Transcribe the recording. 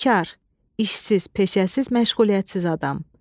Bikar, işsiz, peşəsiz, məşğuliyyətsiz adam.